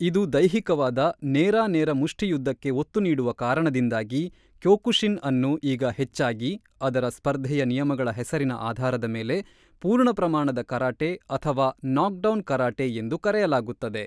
ಇದು ದೈಹಿಕವಾದ, ನೇರಾ ನೇರ ಮುಷ್ಠಿಯುದ್ಧಕ್ಕೆ ಒತ್ತು ನೀಡುವ ಕಾರಣದಿಂದಾಗಿ, ಕ್ಯೋಕುಶಿನ್ ಅನ್ನು ಈಗ ಹೆಚ್ಚಾಗಿ (ಅದರ ಸ್ಪರ್ಧೆಯ ನಿಯಮಗಳ ಹೆಸರಿನ ಆಧಾರದ ಮೇಲೆ) ಪೂರ್ಣ-ಪ್ರಮಾಣದ ಕರಾಟೆ ಅಥವಾ ನಾಕ್‌ಡೌನ್‌ ಕರಾಟೆ ಎಂದು ಕರೆಯಲಾಗುತ್ತದೆ.